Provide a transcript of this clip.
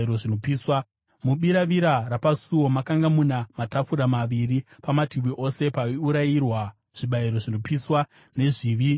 Mubiravira rapasuo makanga muna matafura maviri pamativi ose, paiurayirwa zvibayiro zvinopiswa, zvezvivi nezvemhosva.